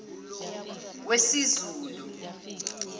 wesizulu